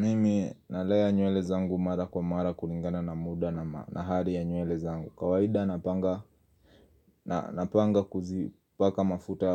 Mimi nalea nywele zangu mara kwa mara kulingana na muda na hali ya nywele zangu kawaida napanga napanga kuzipaka mafuta